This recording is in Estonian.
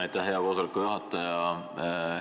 Aitäh, hea koosoleku juhataja!